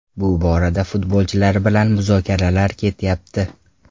Bu borada futbolchilar bilan muzokaralar ketyapti.